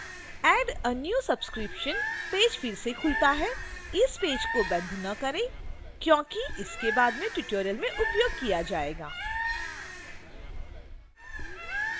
add a new subscription 1/2 page फिर से खुलता है इस पेज को बंद न करें क्योंकि इसे बाद में tutorial में उपयोग किया जाएगा